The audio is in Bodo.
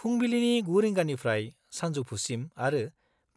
फुंबिलिनि 9 रिंगानिफ्राय सानजौफुसिम आरो